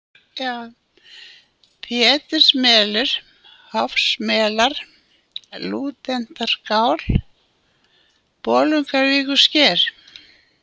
Pétursmelur, Hofsmelar, Lúdentarskál, Bolungarvíkursker